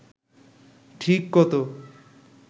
ঠিক কত